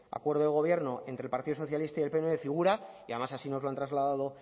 acuerdo de gobierno entre el partido socialista y del pnv figura y además así nos lo han trasladado